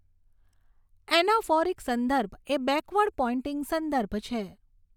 Anaphoric સંદર્ભ એ backward pointing સંદર્ભ છે.